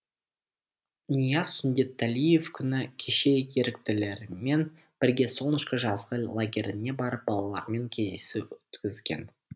нияз сүндетәлиев күні кеше еріктілермен бірге солнышко жазғы лагеріне барып балалармен кездесу өткізген